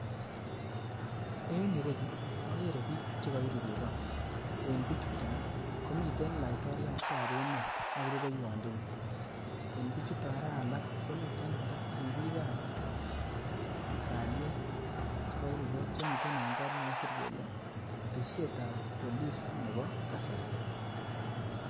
En ireyu, okere biik chekoirurukok. En bichuton, komiten laitoryatab emet ak rubeiywondenyin. En bichuton koraa alak komiten kora ribikab kalyet chekoirurukok chemiten en kot nekakisir kele keteshetab Police nebo kasari.